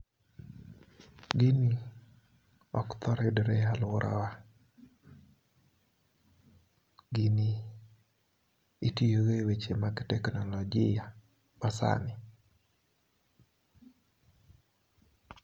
Gini ok thor yudore e aluorawa gini itiyo go e weche mag teknolojia masani